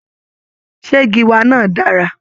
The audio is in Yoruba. Ṣé gíwá náà dára?